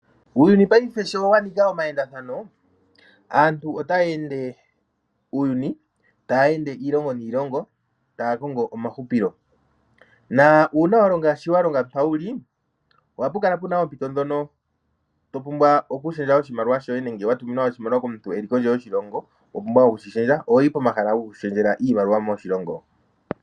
Uuyuni payife sho wanika omayendathano aantu otaya ende uuyuni, taya ende iilongo niilongo taya ende taya kongo omahupilo . Uuna wuna shoka walonga mpoka wuli ohapu kala puna oompito ndhono topumbwa oku shendja oshimaliwa nenge watuminwa komuntu eli kondje yoshilongo , ohoyi pomahala goku shendjela iimaliwa moshilongo.